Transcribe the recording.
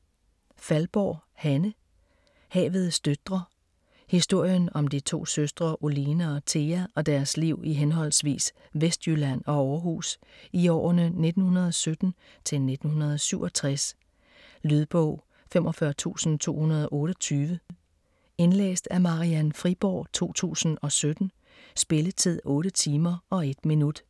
Faldborg, Hanne: Havets døtre Historien om de to søstre Oline og Thea og deres liv i henholdsvis Vestjylland og Aarhus i årene 1917-1967. Lydbog 45228 Indlæst af Marian Friborg, 2017. Spilletid: 8 timer, 1 minut.